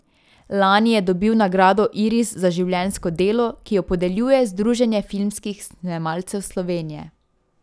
Lani je dobil nagrado iris za življenjsko delo, ki jo podeljuje Združenje filmskih snemalcev Slovenije.